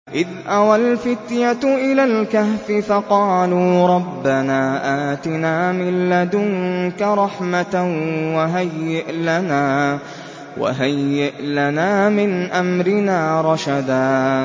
إِذْ أَوَى الْفِتْيَةُ إِلَى الْكَهْفِ فَقَالُوا رَبَّنَا آتِنَا مِن لَّدُنكَ رَحْمَةً وَهَيِّئْ لَنَا مِنْ أَمْرِنَا رَشَدًا